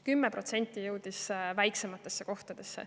10% jõudis väiksematesse kohtadesse.